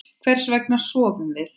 Hvers vegna sofum við?